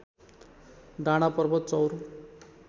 डाँडा पर्वत चौर